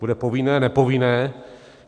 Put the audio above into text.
Bude povinné, nepovinné?